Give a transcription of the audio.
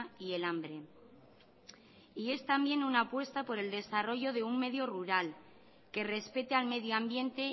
y el hambre y es también una apuesta por el desarrollo de un medio rural que respeta al medio ambiente